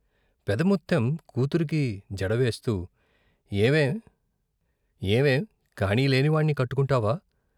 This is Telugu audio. పెదముత్తెం కూతురుకి జడవేస్తూ ఏవే ఏవే కాణీలేని వాణ్ణి కట్టుకుంటావా?